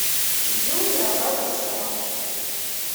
юрия борисова